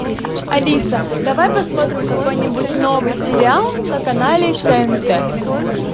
алиса давай посмотрим какой нибудь новый сериал на канале тнт